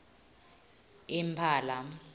impala